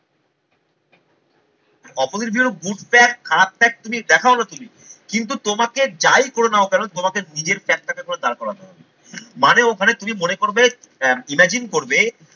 Opposite view good fact খারাপ fact তুমি দেখাও না তুমি কিন্তু তোমাকে যাই করে নাও কেন তোমাকে নিজের caption এ তোমায় দাঁড় করাতে হবে মানে ওখানে তুমি মনে করবে imagine করবে